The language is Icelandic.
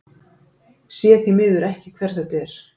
Sé því miður ekki hver þetta er.